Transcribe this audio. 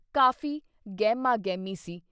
ਕਾਫੀ ਗਹਿਮਾ-ਗਹਿਮੀ ਸੀ।